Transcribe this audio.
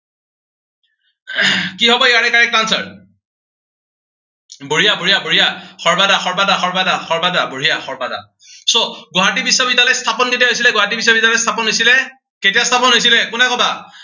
কি হব ইয়াৰে correct answer বঢ়িয়া বঢ়িয়া বঢ়িয়া, সৰ্বাদা সৰ্বাদা সৰ্বাদা সৰ্বাদা, বঢ়িয়া সৰ্বাদা। so গুৱাহাটী বিশ্ববিদ্য়ালয় স্থাপন কেতিয়া হৈছিলে। গুৱাহাটী বিশ্ববিদ্য়ালয় স্থাপন হৈছিলে, কেতিয়া স্থাপন হৈছিলে, কোনে কবা?